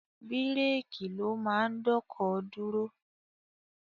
Bírèèkì ló máa ń dọ́kọ̀ dúró.